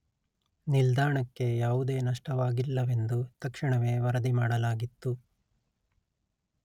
ನಿಲ್ದಾಣಕ್ಕೆ ಯಾವುದೇ ನಷ್ಟವಾಗಿಲ್ಲವೆಂದು ತಕ್ಷಣವೇ ವರದಿಮಾಡಲಾಗಿತ್ತು